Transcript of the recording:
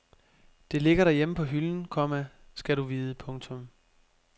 Det ligger derhjemme på hylden, komma skal du vide. punktum